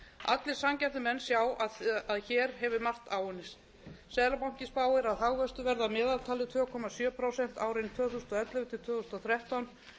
allir sanngjarnir menn sjá að hér hefur margt áunnist seðlabankinn spáir að hagvöxtur verði að meðaltali tvö komma sjö prósent árin tvö þúsund og ellefu til tvö þúsund og þrettán tvö komma